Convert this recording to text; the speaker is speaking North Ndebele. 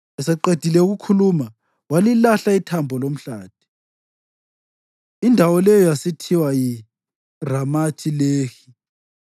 Eseqedile ukukhuluma walilahla ithambo lomhlathi; indawo leyo yasithiwa yiRamathi-Lehi.